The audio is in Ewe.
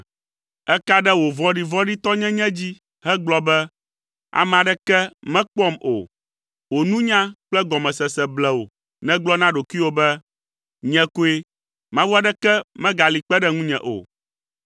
Èka ɖe wò vɔ̃ɖivɔ̃ɖitɔnyenye dzi hegblɔ be, ‘Ame aɖeke mekpɔam o.’ Wò nunya kple gɔmesese ble wò nègblɔ na ɖokuiwò be, ‘Nye koe, mawu aɖeke megali kpe ɖe ŋunye o.’